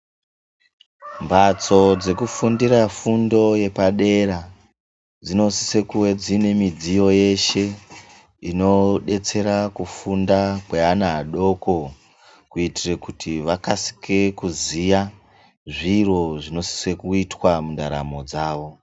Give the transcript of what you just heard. Mbatso dzekufundira fundo yepadera, dzinosisa kuve dzine midziyo yeshe, inodetsera kufunda kweana adoko kuitira kuti vakasike kuziya zviro zvinosise kuitwa mundaramo dzawo.